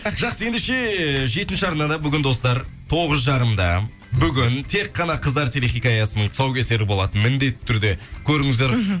жақсы ендеше жетінші арнада бүгін достар тоғыз жарымда бүгін тек қана қыздар телехикаясының тұсаукесері болады міндетті түрде көріңіздер мхм